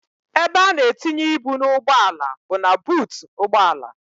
Ebe a na-etinye ibu n'ugbọala bụ na buutu ụgbọala.